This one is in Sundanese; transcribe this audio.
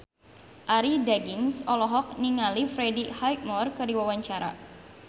Arie Daginks olohok ningali Freddie Highmore keur diwawancara